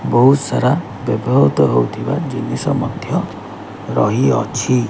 ବହୁତ୍ ସାରା ବ୍ୟବହୃତ ହୋଉଥିବା ଜିନିଷ ମଧ୍ୟ ରହିଅଛି।